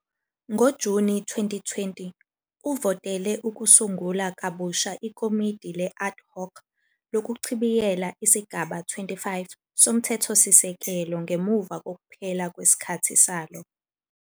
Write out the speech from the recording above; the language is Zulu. NgoJuni 2020, uvotele ukusungula kabusha iKomidi le-Ad Hoc lokuchibiyela iSigaba 25 soMthethosisekelo ngemuva kokuphela kwesikhathi salo.